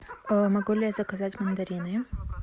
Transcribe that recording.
могу ли я заказать мандарины